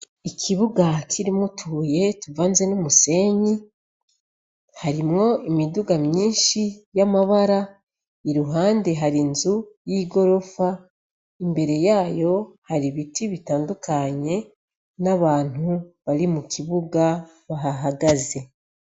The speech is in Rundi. Ikibuga kirimwo utubuye tuvanze n'umusenyi harimwo imiduga myishi y'amabara iruhande hari inzu y'igorofa imbere yayo hari ibiti bitandukanye n'abantu bari mu kibuga bahahagaze.